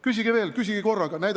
Küsige veel, küsige korraga!